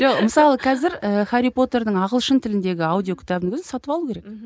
жоқ мысалы қазір і хәрри потердің ағылшын тіліндегі аудио кітабының өзін сатып алу керек мхм